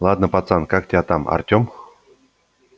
ладно пацан как тебя там артём